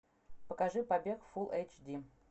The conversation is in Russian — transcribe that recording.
покажи побег фулл эйч ди